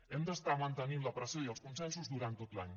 hem d’estar mantenint la pressió i els consensos durant tot l’any